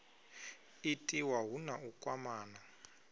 itiwa hu na u kwamana